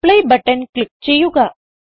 apply button click ചെയ്യുക